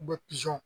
U bɛ pizɔn